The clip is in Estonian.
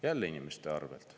Jälle inimeste arvelt.